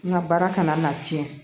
N ka baara kana na tiɲɛ